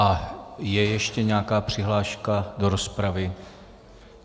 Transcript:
A je ještě nějaká přihláška do rozpravy?